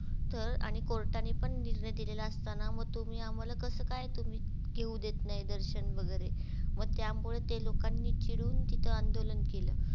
तर आणि court नी पण निर्णय दिलेल असताना म तुम्ही आम्हाला कस काय तुम्ही घेऊ देत नाई दर्शन वगेरे म त्यामुळे ते लोकांनी चिडून तिथ आंदोलन केल.